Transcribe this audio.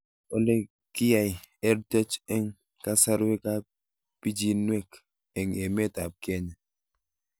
Ole kiyai EdTech eng' kasarwek ab pichinwek eng' emet ab Kenya